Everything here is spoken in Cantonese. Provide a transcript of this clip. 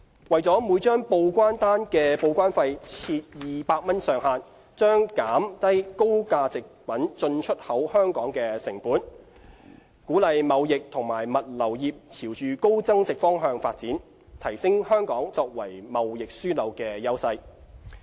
為每張報關單的報關費設200元上限，將減低高價值貨品進出口香港的成本，鼓勵貿易及物流業朝高增值方向發展，提升香港作為貿易樞紐的優勢。